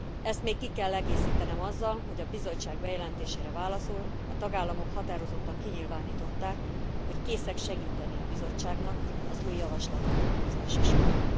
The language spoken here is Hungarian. Ezt még ki kell egészítenem azzal, hogy a Bizottság bejelentésére válaszul a tagállamok határozottan kinyilvánították, hogy készek segíteni a Bizottságnak az új javaslat kidolgozása során.